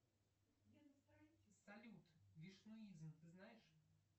салют вишнуизм ты знаешь